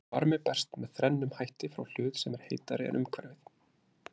Varmi berst með þrennum hætti frá hlut sem er heitari en umhverfið.